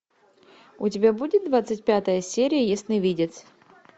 у тебя будет двадцать пятая серия ясновидец